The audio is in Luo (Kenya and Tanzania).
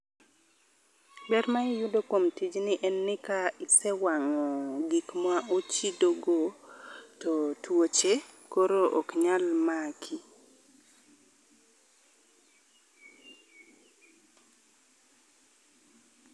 Ber ma iyudo kuom tijni en ni ka isewang'o gik ma ochido go to tuoche koro ok nyal maki.